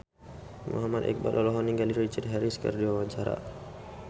Muhammad Iqbal olohok ningali Richard Harris keur diwawancara